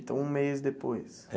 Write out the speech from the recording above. Então, um mês depois.